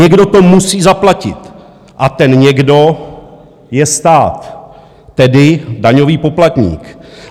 Někdo to musí zaplatit a ten někdo je stát, tedy daňový poplatník.